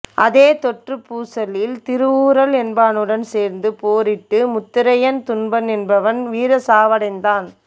அதே தொறுப் பூசலில் திருவூறல் என்பானுடன் சேர்ந்து போரிட்டு முத்தரையன் தும்பன் என்பவன் வீர சாவடைந்தான்